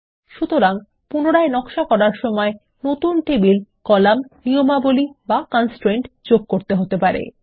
সুতরাং পুনরায় নকশা করার সময় নতুন টেবিল কলাম নিয়মাবলী বা কনস্ট্রেইন্ট যোগ করতে হতে পারে